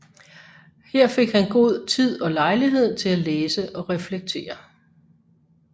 Her fik han god tid og lejlighed til at læse og reflektere